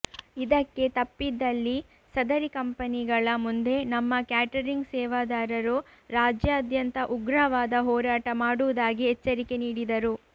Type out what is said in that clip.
ಇದಕ್ಕೆ ತಪ್ಪಿದಲ್ಲಿ ಸದರಿ ಕಂಪನಿಗಳ ಮುಂದೆ ನಮ್ಮ ಕ್ಯಾಟರಿಂಗ್ ಸೇವಾದಾರರು ರಾಜ್ಯಾದ್ಯಂತ ಉಗ್ರವಾದ ಹೋರಾಟ ಮಾಡುವುದಾಗಿ ಎಚ್ಚರಿಕೆ ನೀಡಿದರು